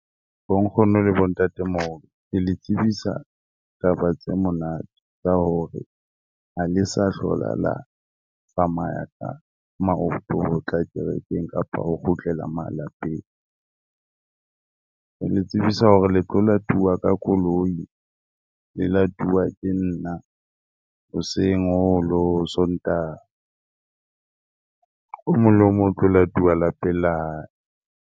Bo nkgono le bo ntatemoholo ke le tsebisa taba tse monate, tsa hore ha le sa hlola la tsamaya ka maoto, ho tla kerekeng kapa ho kgutlela malapeng. Ke le tsebisa hore le tlo latuwa ka koloi le latuwa ke nna hoseng hong le ho hong Sontaha. O mong le o mong o tlo latuwa lapeng la hae.